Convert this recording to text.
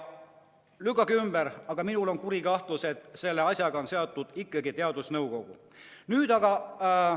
Lükake ümber, aga minul on kuri kahtlus, et selle asjaga on seotud ikkagi teadusnõukoda.